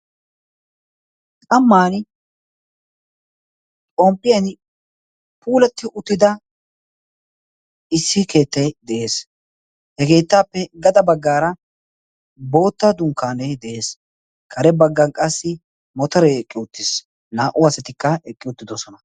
qamman xomppiyan puulatti uttida issi keettee de7ees hegeettaappe gada baggaara bootta dunkkaanee de7ees kare baggan qassi motoree eqqi uttiis naa77u asatikka eqqi uttidosona